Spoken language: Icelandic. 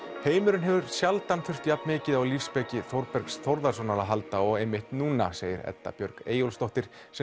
heimurinn hefur sjaldan þurft jafnmikið á lífsspeki Þórbergs Þórðarsonar að halda og einmitt núna segir Edda Björg Eyjólfsdóttir sem